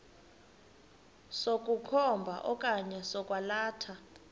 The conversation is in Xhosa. sokukhomba okanye sokwalatha